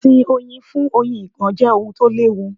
Ìsìn Oyin fún Oyin ìgàn jẹ́ ohun tó l'ẹ́wu.